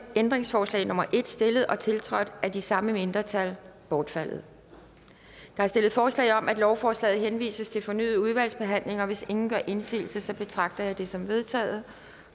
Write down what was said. ændringsforslag nummer en stillet og tiltrådt af de samme mindretal bortfaldet der er stillet forslag om at lovforslaget henvises til fornyet udvalgsbehandling og hvis ingen gør indsigelse betragter jeg det som vedtaget